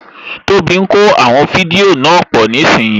Tóbi ń kó àwọn fídíò náà pọ̀ nísìínyi